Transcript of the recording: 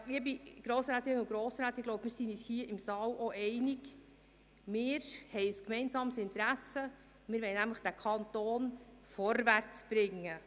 Ja, liebe Grossrätinnen und Grossräte, ich glaube, wir sind uns hier im Saal einig: Wir haben ein gemeinsames Interesse, wir wollen nämlich diesen Kanton vorwärtsbringen.